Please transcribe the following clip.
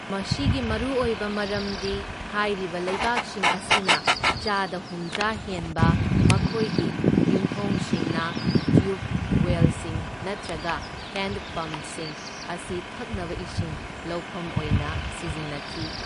ꯃꯁꯤꯒꯤ ꯃꯔꯨꯑꯣꯏꯕ ꯃꯔꯝꯗꯤ ꯍꯥꯏꯔꯤꯕ ꯂꯩꯕꯥꯛꯁꯤꯡ ꯑꯁꯤꯅ ꯆꯥꯗ ꯍꯨꯝꯗ꯭ꯔꯥ ꯍꯦꯟꯕ ꯃꯈꯣꯏꯒꯤ ꯌꯨꯝꯊꯣꯡꯁꯤꯡꯅ ꯇ꯭ꯌꯨꯕ ꯋꯦꯜꯁꯤꯡ ꯅꯠꯇ꯭ꯔꯒ ꯍꯦꯟꯗ ꯄꯝꯁꯤꯡ ꯑꯁꯤ ꯊꯛꯅꯕ ꯏꯁꯤꯡ ꯂꯧꯐꯝ ꯑꯣꯏꯅ ꯁꯤꯖꯤꯟꯅꯈꯤ꯫